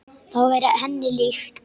Það væri henni líkt.